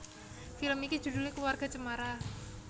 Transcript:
Film iki judhulé Keluarga Cemara